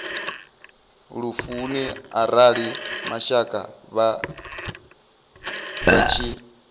lufuni arali mashaka vha tshi